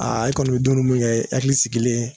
i kɔni mi dumuni mun kɛ i hakili sigilen